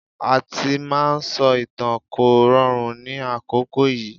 Àti máa sọ ìtàn kò rọrùn ní àkókò yìí.